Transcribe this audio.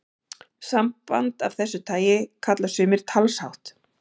Samband af þessu tagi kalla sumir talshátt.